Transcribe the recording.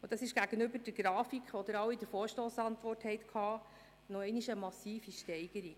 Das ist gegenüber der Grafik, die Ihnen in der Vorstossantwort vorliegt, eine weitere massive Steigerung.